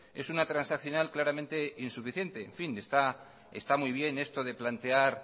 es una transaccional claramente insuficiente en fin está muy bien esto de plantear